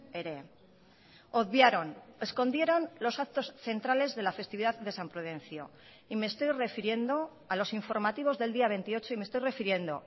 ere obviaron escondieron los actos centrales de la festividad de san prudencio y me estoy refiriendo a los informativos del día veintiocho y me estoy refiriendo